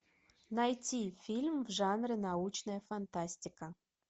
найти фильм в жанре научная фантастика